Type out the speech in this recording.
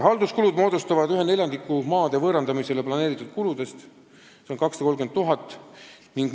Halduskulud moodustavad 1/4 maade võõrandamiseks plaanitud kuludest, see on 230 000 eurot.